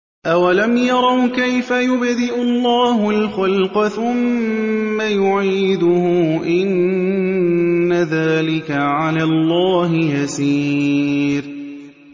أَوَلَمْ يَرَوْا كَيْفَ يُبْدِئُ اللَّهُ الْخَلْقَ ثُمَّ يُعِيدُهُ ۚ إِنَّ ذَٰلِكَ عَلَى اللَّهِ يَسِيرٌ